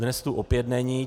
Dnes tu opět není.